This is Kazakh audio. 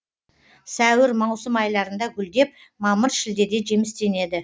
сәуір маусым айларында гүлдеп мамыр шілдеде жемістенеді